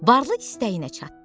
Varlı istəyinə çatdı.